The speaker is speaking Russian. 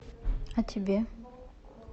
а тебе